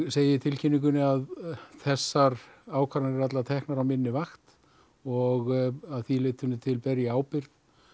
segi í tilkynningunni að þessar ákvarðanir voru teknar á minni vakt og að því leytinu til ber ég ábyrgð